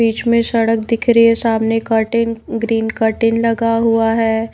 बीच में सड़क दिख रही है सामने कर्टेन ग्रीन कर्टेन लगा हुआ है।